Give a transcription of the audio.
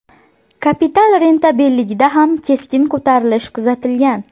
Kapital rentabelligida ham keskin ko‘tarilish kuzatilgan.